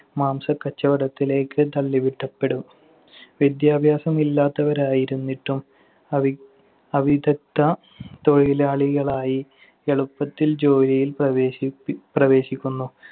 മാംസക്കച്ചവടത്തിലേക്ക് തള്ളിവിടപ്പെടും. വിദ്യാഭ്യാസമില്ലാത്തവരായിരുന്നിട്ടും അവി~ അവിദ്ഗദ്ധ തൊഴിലാളികളായി എളുപ്പത്തിൽ ജോലിയിൽ പ്രവേശിപ്പി~ പ്രവേശിക്കുന്നു.